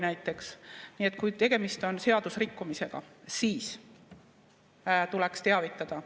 Nii et kui tegemist on seadusrikkumisega, siis tuleks teavitada.